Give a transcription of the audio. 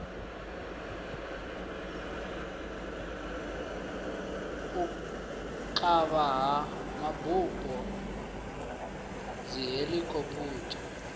u kavha ha mabupo dzihelikhophutha